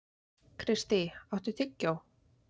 Kristý, áttu tyggjó?